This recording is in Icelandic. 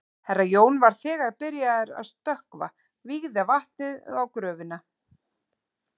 Herra Jón var þegar byrjaður að stökkva vígðu vatni um gröfina.